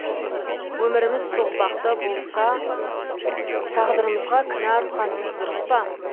өміріміз соқпақты болса тағдырымызға кінә артқанымыз дұрыс па